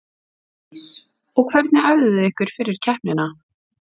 Bryndís: Og hvernig æfðu þið ykkur fyrir keppnina?